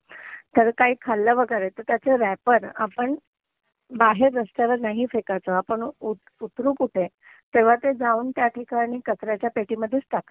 तर काई खाल्लं वेगेरे तर त्याचं रॅपर आपण बाहेर रस्त्यावर नाही फेकायचं. आपण उतरू कुठे तेव्हा ते जाऊन त्याठिकाणी काचऱ्याच्या पेटीमध्येच टाकायचं.